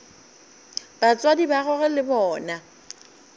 batswadi ba gagwe le bona